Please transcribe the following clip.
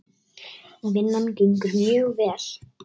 Vinnan gengur mjög vel.